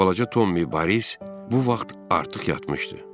Balaca Tommy Boris bu vaxt artıq yatmışdı.